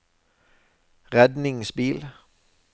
redningsbil